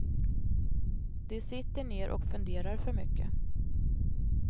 De sitter ner och funderar för mycket.